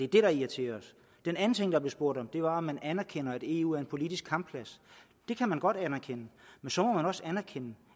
det der irriterer os den anden ting der blev spurgt om var om man anerkender at eu er en politisk kampplads det kan man godt anerkende men så må man også anerkende